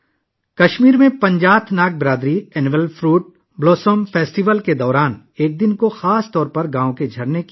کشمیر میں پنجات ناگ برادری سالانہ پھلوں کے پھلنے کے تہوار کے دوران گاؤں کے موسم بہار کی صفائی میں خاص طور پر ایک دن گزارتی ہے